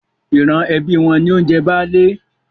Ìran ẹbí wọn ni ó ń jẹ Baálé.